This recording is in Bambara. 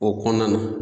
O kɔnɔna na